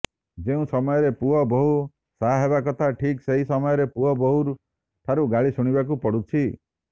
ଯେଉଁ ସମୟରେ ପୁଅ ବୋହୂ ସାହାହେବା କଥା ଠିିକ୍ ସେହି ସମୟରେ ପୁଅ ବୋହୂଠାରୁ ଗାଳି ଶୁଣିବାକୁ ପଡ଼ୁଛି